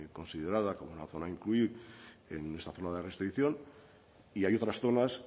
considerada como una zona a incluir en esta zona de restricción y hay otras zonas